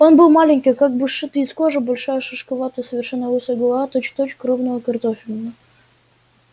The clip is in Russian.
он был маленький как бы сшитый из кожи большая шишковатая совершенно лысая голова точь-в-точь крупная картофелина